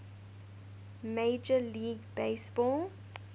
major league baseball